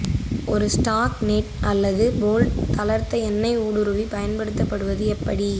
ஒரு stuck nut அல்லது bolt தளர்த்த எண்ணெய் ஊடுருவி பயன்படுத்துவது எப்படி